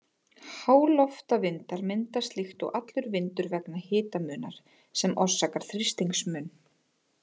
Háloftavindar myndast líkt og allur vindur vegna hitamunar, sem orsakar þrýstingsmun.